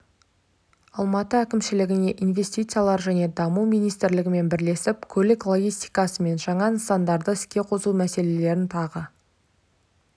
алматы әкімшілігіне инвестициялар және даму министрлігімен бірлесіп көлік логистикасы мен жаңа нысандарды іске қосу мәселелерін тағы